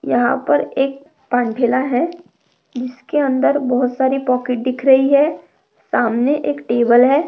यहाँ पर एक पांडेला है जिसके अंदर बहुत सारी पॉकेट दिख रही है सामने एक टेबल है।